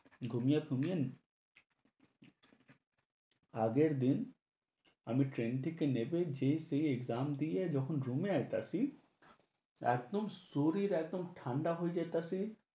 ঘুমিয়ে ঘুমিয়ে আগের দিন আমি train থেকে নেমে যেয়ে-টেয়ে গান দিয়ে যখন room এ আইতাছি, একদম শরীর একদম ঠান্ডা হয়ে যাইতাছে।